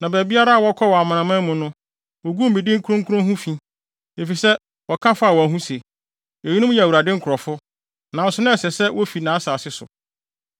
Na baabiara a wɔkɔɔ wɔ amanaman mu no, woguu me din kronkron ho fi, efisɛ wɔka faa wɔn ho se, ‘Eyinom yɛ Awurade nkurɔfo, nanso na ɛsɛ sɛ wofi nʼasase so.’